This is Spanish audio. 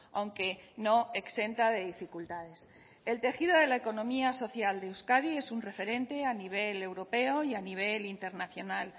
aunque no exenta de dificultades el tejido de la economía social de euskadi es un referente a nivel europeo y a nivel internacional